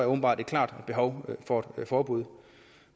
åbenbart et klart behov for et forbud